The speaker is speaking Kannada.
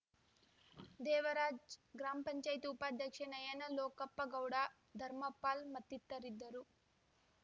ದೇವರಾಜ್‌ ಗ್ರಾಮ್ ಪಂಚಾಯ್ತ್ ಉಪಾಧ್ಯಕ್ಷೆ ನಯನ ಲೋಕಪ್ಪ ಗೌಡ ಧರ್ಮಪಾಲ್‌ ಮತ್ತಿತರಿದ್ದರು